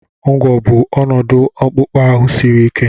ụgwọ̀ bụ ọnọdụ akpụkpọ ahụ siri ike